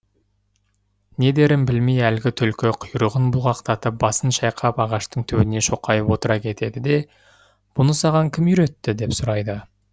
не дерін білмей әлгі түлкі құйрығын бұлғақтатып басын шайқап ағаштың түбіне шоқайып отыра кетеді де бұны саған кім үйретті деп сұрайды